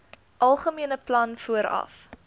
algemene plan vooraf